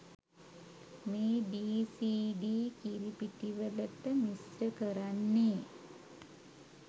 මේ ඩීසීඩී කිරිපිටිවලට මිශ්‍ර කරන්නේ.